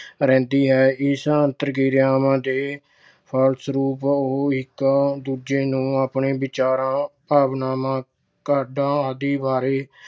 ਰਹਿੰਦੀ ਹੈ। ਇਸ ਅੰਤਰ ਕਿਰਿਆਵਾਂ ਦੇ ਫਲਸਰੂਪ ਉਹ ਇੱਕ ਦੂਜੇ ਨੂੰ ਆਪਣੇ ਵਿਚਾਰਾਂ, ਭਾਵਨਾਵਾਂ, ਕਾਢਾਂ ਆਦਿ ਬਾਰੇ